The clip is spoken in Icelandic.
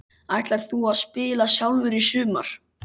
Ætlar þú að spila sjálfur í sumar?